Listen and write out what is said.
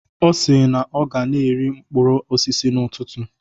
Ọ si na ọ ga na-eri mkpụrụ osisi n'ụtụtụ.